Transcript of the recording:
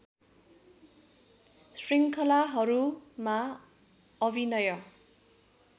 श्रृङ्खलाहरूमा अभिनय